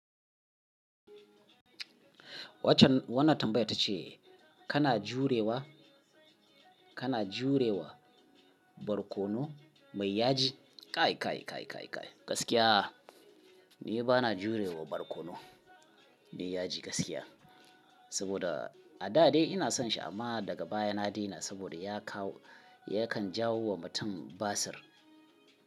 Waccan wannan tambayar ta ce kana jurewa, kana jurewa barkono mai yaji? Kai, kai, kai, kai, kai gaskiya ni bana jurewa barkono mai yaji gaskiya. Saboda a da dai ina son shi amma daga baya na daina saboda ya kawo yakan jawo wa mutum basir.